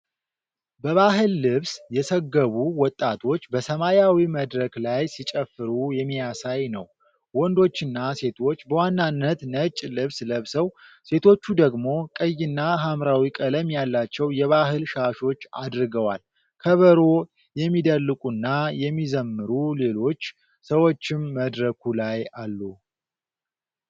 በባህል ልብስ የሰገቡ ወጣቶች በሰማያዊ መድረክ ላይ ሲጨፍሩ የሚያሳይ ነው። ወንዶችና ሴቶች በዋናነት ነጭ ልብስ ለብሰው፣ ሴቶቹ ደግሞ ቀይና ሐምራዊ ቀለም ያላቸው የባህል ሻሾች አድርገዋል። ከበሮ የሚደልቁና የሚዘምሩ ሌሎች ሰዎችም መድረኩ ላይ አሉ።